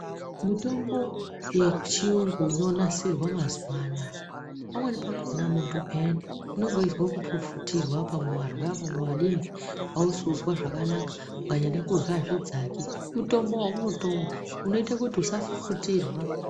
Mutombo yechiyungu inonasirwa mazuwa anaa pamweni pakhona muntu payani unenge weizwe kufufutirwa pamwe warya pamwe wadini ausi kuzwa zvakanaka ukanyade kurya azvidzaki mutombo weunotomwa unoite kuti usafufutirwa.